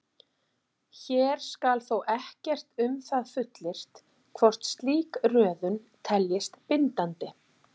Hér skal þó ekkert um það fullyrt hvort slík röðun teljist bindandi.